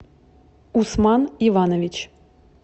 усман иванович